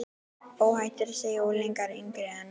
Óhætt er að segja að unglingar yngri en